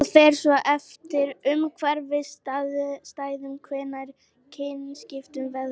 það fer svo eftir umhverfisaðstæðum hvenær kynskiptin verða